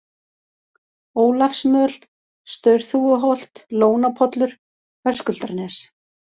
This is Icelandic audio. Ólafsmöl, Staurþúfuholt, Lónapollur, Höskuldarnes